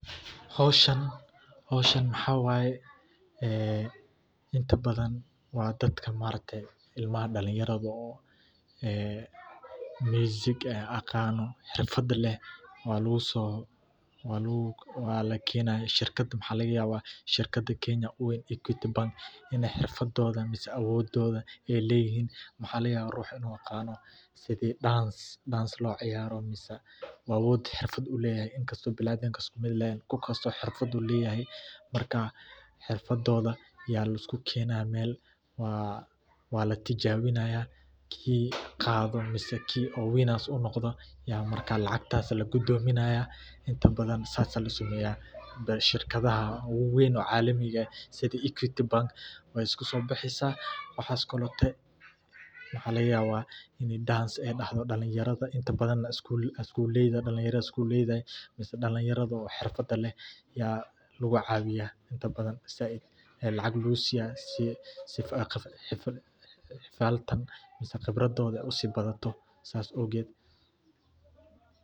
Howshan howshan maxa wayee ee inta badan waa dadka maaragtay ilmaha dhalinyaarada oo ee musiga aqaano xirfaada leh walaguu soo walaguu wala kenaaya shirkaada maxa laga yawa shirkaada kenya uu weyn equity bank iney xirfadoda miseh awododa eyleyihiin. waxa laga yawa ruxaa inuu aqaano sidii dance dance loo ciyaaro miseh awood xirfaad uleyahay inkasto biniadamka iskuu miid ehen kuu kastoo xirfaad uleyahay. marka xirfadoda laiskugu kenaya mel waa wala tijabinaya kii qaado miseh kii oo winners uu noqdo yaa marka lacagtas lagudominaya intaa badaan sasaa laa sameya. shirkadaaha waweyn oo calamiiga aah sidii equity bank wey iskusobixisa waxas kolote waxa laga yawa iney dance ee dahto dhalinyarada inta badaana dhalinyaarada iskuuleyda miseh dhalinyarada xirfada leh yaa laguu cawiya intaa badaan said aya lacag laguu siiya sii xifaltan miseh qibradoda usii baato sas awged.